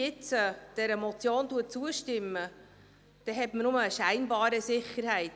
Wenn man dieser Motion jetzt zustimmt, so hat man bloss eine scheinbare Sicherheit.